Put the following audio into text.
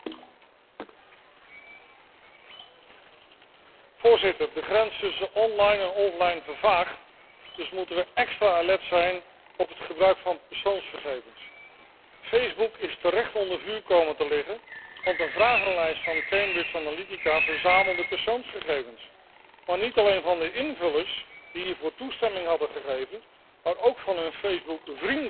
Voorzitter, de grens tussen online en offline vervaagt, dus moeten we extra alert zijn op het gebruik van persoonsgegevens. Facebook is terecht onder vuur komen te liggen, want een vragenlijst van Cambridge Analytica verzamelde persoonsgegevens. Maar niet alleen van de invullers, die hiervoor toestemming hadden gegeven, maar ook van hun Facebook vrienden werden die gegevens gepakt en die wisten van niets.